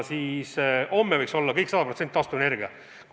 Et homme võiks olla 100% taastuvenergia.